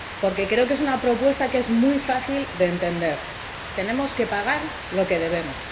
Porque creo que es una propuesta que es muy fácil de entender tenemos que pagar lo que debemos.